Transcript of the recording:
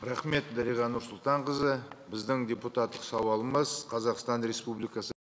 рахмет дариға нұрсұлтанқызы біздің депутаттық сауалымыз қазақстан республикасы